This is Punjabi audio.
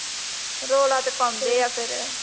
ਰੌਲਾ ਤੇ ਪਾਉਂਦੇ ਆ ਫੇਰ